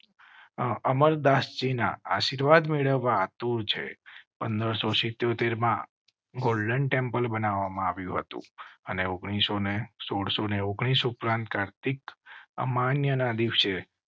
ગુરુ અમરદાસજી ના આશીર્વાદ મેળવવા આતુર છે. પંદરસો સિત્યોતેર માં ગોલ્ડન ટેમ્પલ બનાવવા માં આવ્યું હતું અને ઓગણીસો ને સોડસો ને ઓગણીસ ઉપરાંત કાર્તિક અમાન્ય ના દિવસે